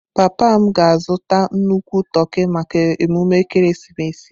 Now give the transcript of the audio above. Papa m ga-azụta nnukwu toki maka emume ekeresimesi a.